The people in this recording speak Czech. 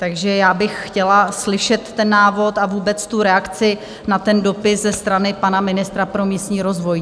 Takže já bych chtěla slyšet ten návod a vůbec reakci na ten dopis ze strany pana ministra pro místní rozvoj.